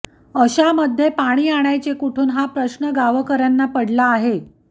अशामध्ये पाणी आणायचे कुठून हा प्रश्न गावकऱ्यांना पडला आहे